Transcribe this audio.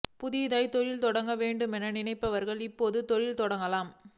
புதிதாகத் தொழில் தொடங்க வேண்டுமென நினைப்பவர்கள் இப்போது தொழில் தொடங்கலாம்